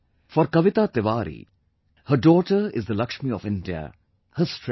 For Kavita Tiwari, her daughter is the Lakshmi of India, her strength